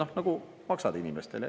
Sa nagu maksad inimestele.